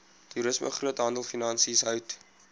toerisme groothandelfinansies hout